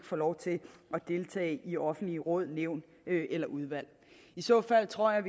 få lov til at deltage i offentlige råd nævn eller udvalg i så fald tror jeg